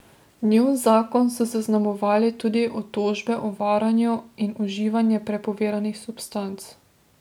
Njun zakon so zaznamovale tudi obtožbe o varanju in uživanje prepovedanih substanc.